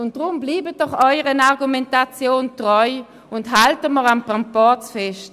Darum bleiben Sie doch Ihren Argumentationen treu, und halten wir am Proporz fest.